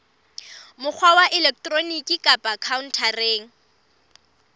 mokgwa wa elektroniki kapa khaontareng